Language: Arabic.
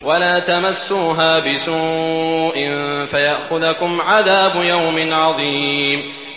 وَلَا تَمَسُّوهَا بِسُوءٍ فَيَأْخُذَكُمْ عَذَابُ يَوْمٍ عَظِيمٍ